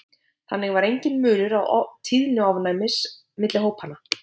þannig var enginn munur á tíðni ofnæmis milli hópanna